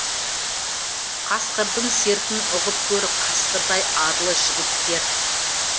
қасқырдың сертін ұғып көр қасқырдай арлы жігіттер